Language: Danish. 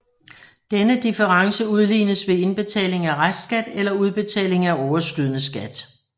Denne difference udlignes ved indbetaling af restskat eller udbetaling af overskydende skat